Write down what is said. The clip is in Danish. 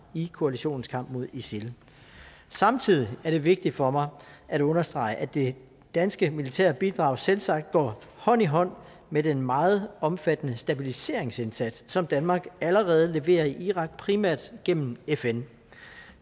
i koalitionens kamp mod isil samtidig er det vigtigt for mig at understrege at det danske militære bidrag selvsagt går hånd i hånd med den meget omfattende stabiliseringsindsats som danmark allerede leverer i irak primært gennem fn